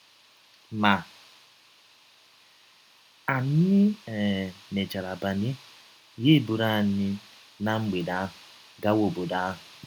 Ma, anyị um mechara banye, ya ebụrụ anyị ná mgbede ahụ gawa ọbọdọ ahụ.